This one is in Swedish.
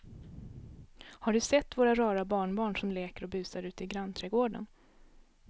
Har du sett våra rara barnbarn som leker och busar ute i grannträdgården!